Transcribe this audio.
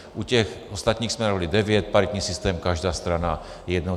U těch ostatních jsme navrhovali devět, paritní systém každá strana jednoho.